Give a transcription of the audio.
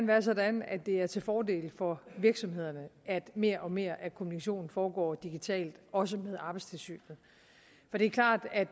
være sådan at det er til fordel for virksomhederne at mere og mere af kommunikationen foregår digitalt også med arbejdstilsynet for det er klart at